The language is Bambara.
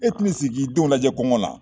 E tɛn'i sigi k'i denw lajɛ kɔngɔ na